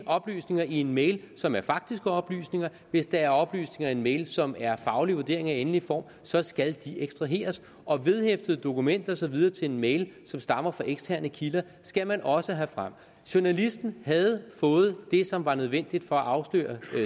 oplysninger i en mail som er faktiske oplysninger hvis der er oplysninger i en mail som er faglige vurderinger i endelig form så skal de ekstraheres og vedhæftede dokumenter og så videre til en mail som stammer fra eksterne kilder skal man også have frem journalisten havde fået de oplysninger som var nødvendige for at afsløre